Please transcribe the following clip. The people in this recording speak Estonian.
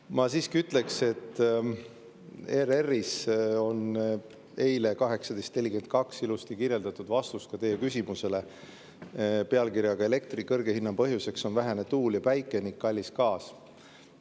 Ma siiski ütleks, et ERR‑is eile 18.42 ilusti kirjeldatud vastus teie küsimusele pealkirjaga "Elektri kõrge hinna põhjuseks on vähene tuul ja päike ning kallis gaas".